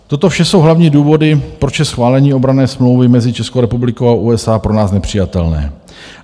Toto vše jsou hlavní důvody, proč je schválení obranné smlouvy mezi Českou republikou a USA pro nás nepřijatelné.